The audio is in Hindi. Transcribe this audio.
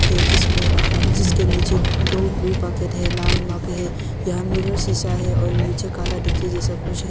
जिसमें जिसके नीचे दो ब्लू बकेट है लाल मग है यहां मिरर शिशा है और नीचे काला डिक्की जैसा कुछ है।